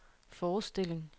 forestilling